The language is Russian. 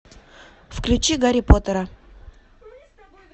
включи гарри поттера